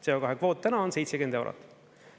CO2 kvoot täna on 70 eurot.